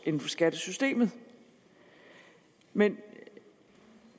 inden for skattesystemet men